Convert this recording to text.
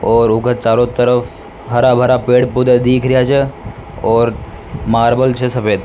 और ऊके चारों तरफ हरा भरा पेड़ पौधे दिख रेहा छे और मार्बल छे सफेद।